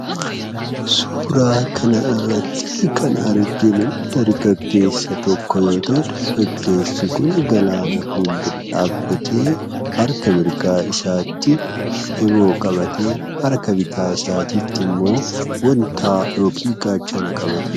Suuraa kanarratti kan arginu dargaggeessa tokko yoo ta'u, dargaggeessi kun galaana fuuldura dhaabbatee harka mirgaa isaatti eeboo qabatee harka bitaa isaattimmoo gaachana qabatee jira.